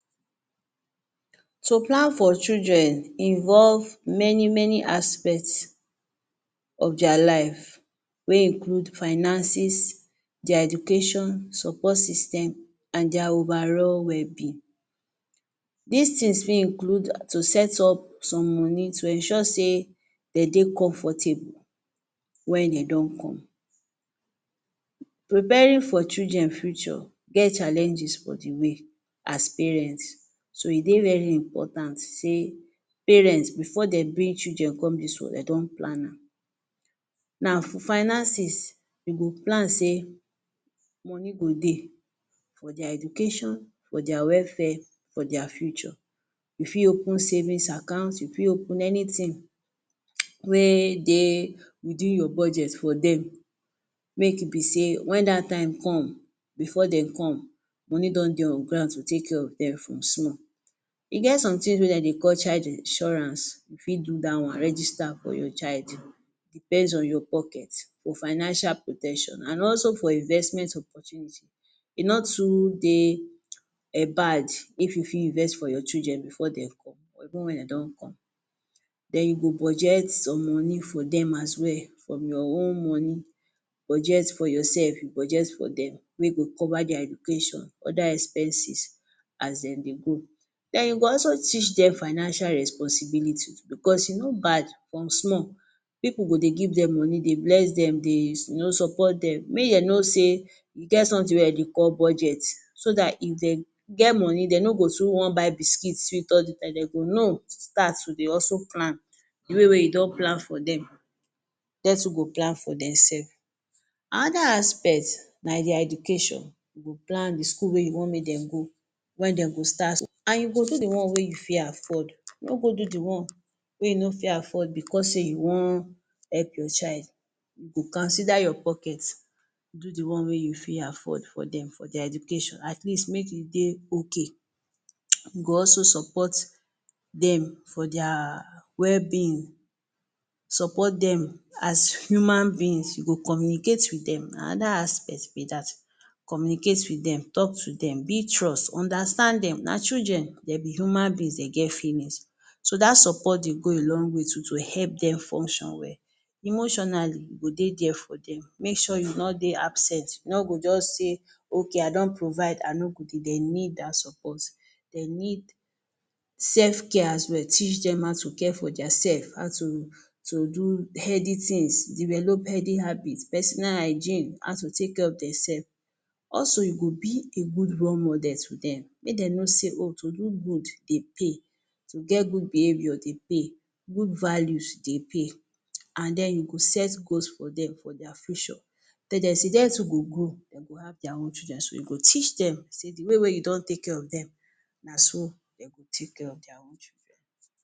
To plan for children involve many-many aspect of dia life wey include finances, dia education, support system, an dia overall wellbeing. Dis tins fit include to set up some money to ensure sey de dey comfortable wen de don come. Preparing for children future get challenges for the way as parents. So, e dey very important sey parent before de bring children come dis world, de don plan am. Now, for finances, you go plan sey money go dey for dia education, for dia welfare, for dia future. You fit open savings account, you fit open anything wey dey within your budget for dem, make e be sey wen dat time come before de come, money don dey on ground to take care of dem from small E get .something wey de dey call child insurance. You fit do dat one, register for your child. Depends on your pocket for financial protection an also for investment opportunity. E no too dey um bad if you fit invest for your children before dem come or even wen de don come. Then you go budget some money for dem as well from your own money. Budget for yoursef, you budget for dem wey go cover dia education, other expenses as de dey grow. Then you go also teach dem financial responsibility too becos e no bad. From small, pipu go dey give dem money, dey bless dem, dey you know, support dem. Make de know sey e get something wey de dey call budget. So dat if de get money, de no go too wan buy biscuit, sweet, all the time. De go know to start to dey hustle plan. The way wey you don plan for dem, de too go plan for demsef. Another aspect na dia education. You go plan the school wey you wan make dem go, wen dem go start. An you go do the one wey you fit afford. No go do the one wey you no fit afford becos sey you wan help your child. You go consider your pocket, do the one wey you fit afford for dem, for dia education. At least, make e dey okay. You go also support dem for dia wellbeing. Support dem as human beings. You go communicate with dem. Na another aspect be dat. Communicate with dem, talk to dem, build trust, understand dem. Na children, de be human beings, de get feelings. So dat support dey go a long way too to help dem function well. Emotionally, you go dey there for dem. Make sure you no dey absent. No go juz say okay, I don provide, I no go dey. De need dat support. De need sef care as well. Teach dem how to care for diasef, how to to do healthy tins, develop healthy habits, personal hygiene, how to take care of demsef. Also, you go be a good role model to dem. Make de know sey oh to do good dey pay, to get good behaviour dey pay, good values dey pay. An then you go set goals for dem for dia future. Tell de sey de too go grow, de go have dia own children. So you teach dem sey the way wey you don take care of dem, na so de go take care of dia own children.